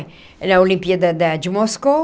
Na olimpíada da de Moscou.